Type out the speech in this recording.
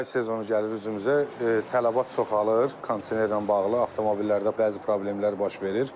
Yay mövsümü gəlir üzümüzə, tələbat çoxalır, kondisionerlə bağlı avtomobillərdə bəzi problemlər baş verir.